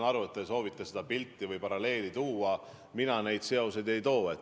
Ma saan aru, et te soovite seda paralleeli tuua, aga mina neid seoseid ei too.